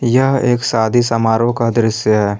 यह एक शादी समारोह का दृश्य है।